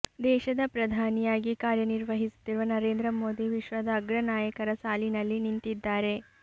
ದೇಶದ ಪ್ರಧಾನಿಯಾಗಿ ಕಾರ್ಯ ನಿರ್ವಹಿಸುತ್ತಿರುವ ನರೇಂದ್ರ ಮೋದಿ ವಿಶ್ವದ ಅಗ್ರ ನಾಯಕರ ಸಾಲಿನಲ್ಲಿ ನಿಂತಿದ್ದಾರೆ